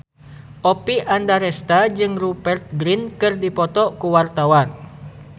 Oppie Andaresta jeung Rupert Grin keur dipoto ku wartawan